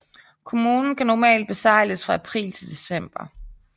Kommunen kan normalt besejles fra april til december